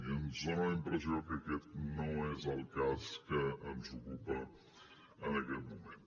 i ens dona la impressió que aquest no és el cas que ens ocupa en aquest moment